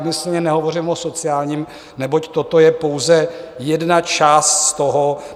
Úmyslně nehovořím o sociálním, neboť toto je pouze jedna část z toho.